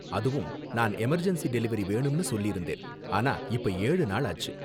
அதுவும், நான் emergency delivery வேணும்னு சொல்லிருந்தேன். ஆனா, இப்ப ஏழு நாளாச்சு.